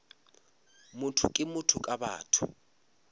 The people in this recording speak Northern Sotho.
motho ke motho ka batho